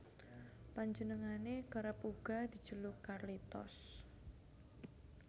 Panjenengane kerep uga dijeluk Carlitos